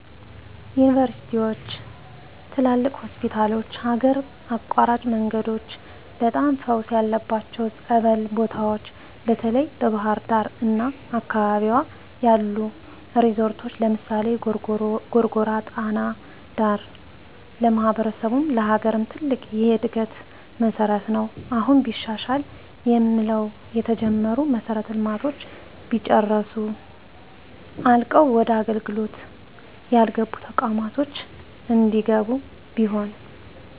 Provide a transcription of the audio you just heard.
ዩንቨርስቲዎች፣ ትላልቅ ሆስፒታሎች፣ ሀገር አቋራጭ መንገዶች፣ በጣም ፈውስ ያለባቸው ፀበል ቦታዎች፣ በተለይ በባሕር ዳር አና አካባቢዋ ያሉ ሪዞረቶች ለምሳሌ፦ ጎርጎራ ጣና ዳር ለማሕበረሰቡም ለሀገርም ትልቅ የእድገት መሠረት ነው። አሁን ቢሻሻል የምንለው የተጀመሩ መሠረተ ልማቶች ቢጨረሱ፣ አልቀው ወደ አገልግሎት ያልገቡ ተቋማት እንዲገቡ ቢሆን።